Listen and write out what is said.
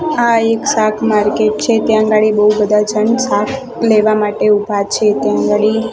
આ એક શાક માર્કેટ છે ત્યાં અગાડી બો બધા જણ શાક લેવા માટે ઉભા છે ત્યાં અગાડી--